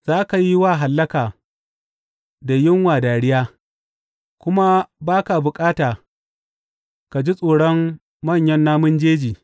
Za ka yi wa hallaka da yunwa dariya; kuma ba ka bukata ka ji tsoron manyan namun jeji.